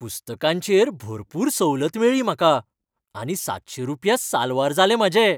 पुस्तकांचेर भरपूर सवलत मेळ्ळी म्हाका, आनी सातशें रुपया साल्वार जाले म्हाजे.